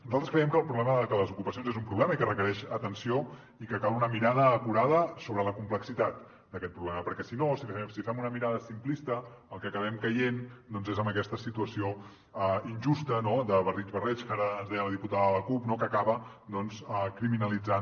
nosaltres creiem que les ocupacions són un problema i que requereix atenció i que cal una mirada acurada sobre la complexitat d’aquest problema perquè si no si fem una mirada simplista en el que acabem caient doncs és en aquesta situació injusta no de barrig barreig que ara ens deia la diputada de la cup no que acaba doncs criminalitzant